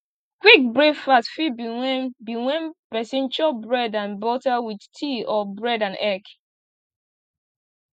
quick breakfast fit be when be when person chop bread and butter with tea or bread and egg